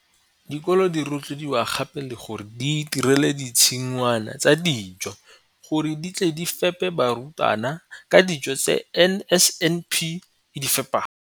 Dikolo di rotloediwa gape le gore di itirele ditshi ngwana tsa dijo gore di tle di fepe barutwana ka dijo tse NSNP e di fepang.